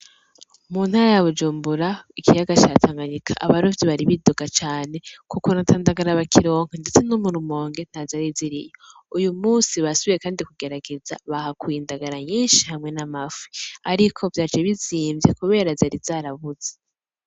Mu ntara ya Bujumbura ikiyaga ca Tanganyika, abarovyi bari bidoga cane ku kuntu ata ndagara bakironka ndetse no mu Rumonge ntazari ziriyo, uyu musi basubiye kandi kugerageza bahakuye indagara nyinshi, hamwe n'amafi, ariko vyaje bizimvye kubera zari zarabuze.